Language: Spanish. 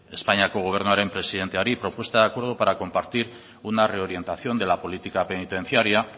espainiako gobernuaren presidenteari propuesta de acuerdo para compartir una reorientación de la política penitenciaria